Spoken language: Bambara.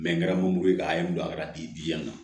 n kɛra morika ye n bila a ka di diɲɛ na